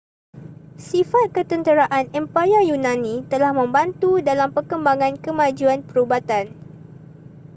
sifat ketenteraan empayar yunani telah membantu dalam perkembangan kemajuan perubatan